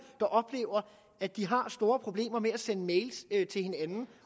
der oplever at de har store problemer med at sende mail til hinanden